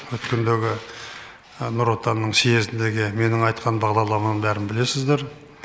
өткендегі нұр отанның съезіндегі менің айтқан бағдарламамды бәрін білесіздер